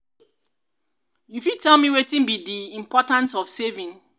you fit tell me wetin be di um importance of saving?